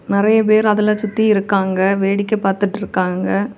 நரைய பேர் அதுல சுத்தி இருக்காங்க வேடிக்கை பாத்துட்டிருக்காங்க.